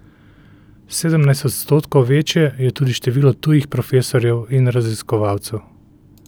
Sedemnajst odstotkov večje je tudi število tujih profesorjev in raziskovalcev.